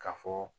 Ka fɔ